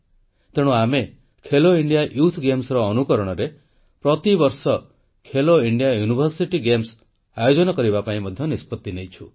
ତେଣୁ ଆମେ Khelo India youth games ଭଳି ପ୍ରତିବର୍ଷ ଖେଲୋ ଇଣ୍ଡିଆ ୟୁନିଭର୍ସିଟି ଗେମ୍ସ ଆୟୋଜନ ହେବାପାଇଁ ମଧ୍ୟ ନିଷ୍ପତ୍ତି କରିଛୁ